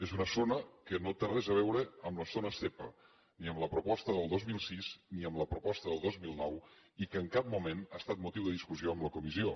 és una zona que no té res a veure amb les zones zepa ni amb la proposta del dos mil sis ni amb la proposta del dos mil nou i que en cap moment ha estat motiu de discussió en la comissió